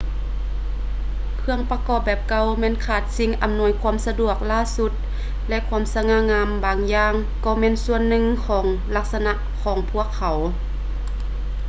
ເຄື່ອງປະກອບແບບເກົ່າແມ່ນຂາດສິ່ງອຳນວຍຄວາມສະດວກລ້າສຸດ ແລະ ຄວາມສະຫງ່າງາມບາງຢ່າງກໍແມ່ນສ່ວນໜຶ່ງຂອງລັກສະນະຂອງພວກເຂົາ